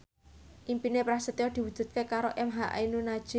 impine Prasetyo diwujudke karo emha ainun nadjib